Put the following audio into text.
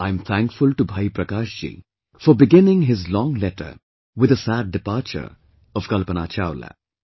I am thankful to Bhai Prakash ji for beginning his long letter with the sad departure of Kalpana Chawla